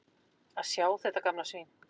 Að sjá þetta gamla svín.